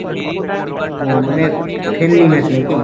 ও মানে friendly match নাকি?